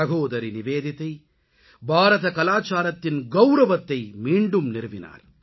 சகோதரி நிவேதிதா பாரத கலாச்சாரத்தின் கவுரவத்தை மீண்டும் நிறுவினார்